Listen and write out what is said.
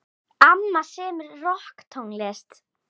Amma semur rokktónlist.